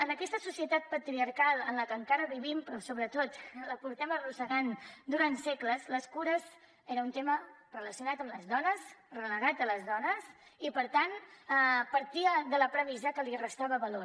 en aquesta societat patriarcal en la que encara vivim però que sobretot la portem arrossegant durant segles les cures eren un tema relacionat amb les dones relegat a les dones i per tant es partia de la premissa que això li restava valor